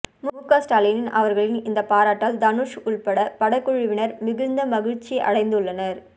முக ஸ்டாலின் அவர்களின் இந்த பாராட்டால் தனுஷ் உள்பட படக்குழுவினர் மிகுந்த மகிழ்ச்சி அடைந்துள்ளனர்